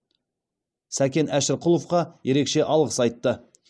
сакен әшірқұловқа ерекше алғыс айтты